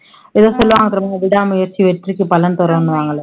ஏதோ சொல்லுவாங்க தெரியுமா, விடாமுயற்சி வெற்றிக்கு பலன் தருன்னுவாங்களே